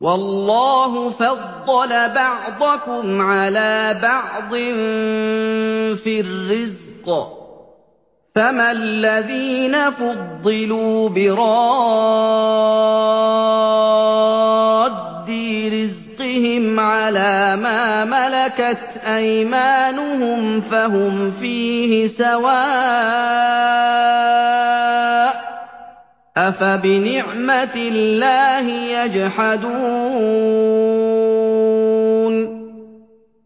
وَاللَّهُ فَضَّلَ بَعْضَكُمْ عَلَىٰ بَعْضٍ فِي الرِّزْقِ ۚ فَمَا الَّذِينَ فُضِّلُوا بِرَادِّي رِزْقِهِمْ عَلَىٰ مَا مَلَكَتْ أَيْمَانُهُمْ فَهُمْ فِيهِ سَوَاءٌ ۚ أَفَبِنِعْمَةِ اللَّهِ يَجْحَدُونَ